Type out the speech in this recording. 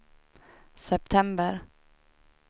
september